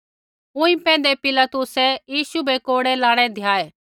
ऊँई पैंधै पिलातुसै यीशु बै कोड़ै लाणै धियाऐ